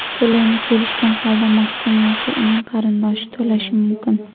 To‘lovni kelishgan holda mahkum yoki uning qarindoshi to‘lashi mumkin.